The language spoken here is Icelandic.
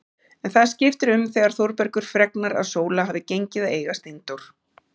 En það skiptir um þegar Þórbergur fregnar að Sóla hafi gengið að eiga Steindór.